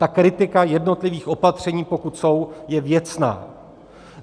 Ta kritika jednotlivých opatření, pokud jsou, je věcná.